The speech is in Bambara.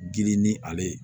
Girin ni ale ye